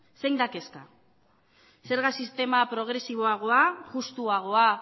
zein da kezka zerga sistema progresiboagoa justuagoa